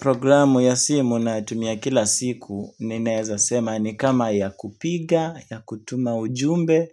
Programu ya simu ninayotumia kila siku ninaweza sema ni kama ya kupiga ya kutuma ujumbe